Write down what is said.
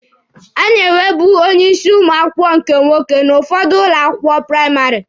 A na-enwebu onye isi ụmụ akwụkwọ nke nwoke n'ụfọdụ ụlọ akwụkwọ praịmarị.